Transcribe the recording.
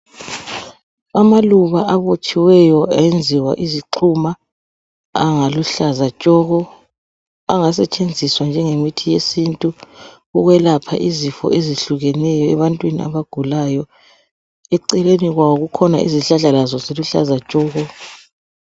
amaluba abotshiweyo ayenziwa izixhuma aluhlaza tshoko angasetshenziswa njengemithi yesintu ukwelapha izifo ezihlukeneyo ebantwini abagulayo eceleni kwawo kukhona zihlahla lazo ziluhlaza tshoko